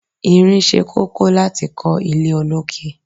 Irin ṣe kókó láti kọ ilé olókè.